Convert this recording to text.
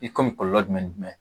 I komi kɔlɔlɔ jumɛn ye jumɛn